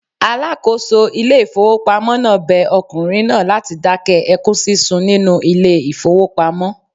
Alákòóso ilé ìfowópamọ́ náà bẹ ọkùnrin náà láti dákẹ́ ẹkún sísun nínú ilé ìfowópamọ́.